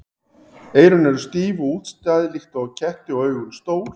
Eyrun eru stíf og útstæð líkt og á ketti og augun stór.